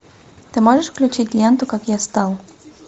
ты можешь включить ленту как я стал